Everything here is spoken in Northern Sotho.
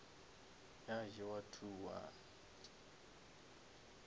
ya jewa two one